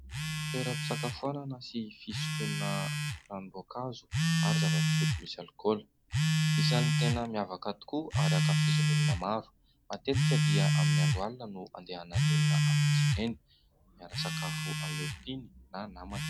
Toeram-pisakafoanana sy fisotrona ranom-boankazo ary zava-pisotro misy alikaola, isany tena miavaka tokoa ary ankafizin'olona maro, matetika dia amin'ny andro alina no andehanan'ny olona amin'izy ireny, miara misakafo amin'ny olontiany na namana.